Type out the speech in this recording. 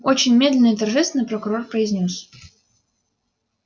очень медленно и торжественно прокурор произнёс